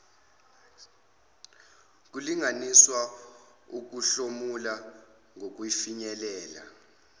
kulinganiswe ukuhlomula nokufinyelela